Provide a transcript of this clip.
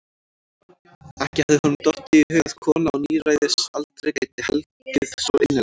Ekki hafði honum dottið í hug að kona á níræðisaldri gæti hlegið svo innilega.